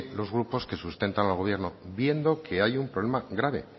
los grupos que sustentan al gobierno viendo que hay un problema grave